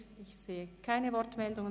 – Ich sehe keine Wortmeldungen.